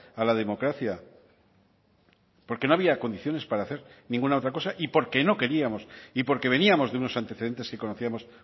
a la democracia porque no había condiciones para hacer ninguna otra cosa y porque no queríamos y porque veníamos de unos antecedentes que conocíamos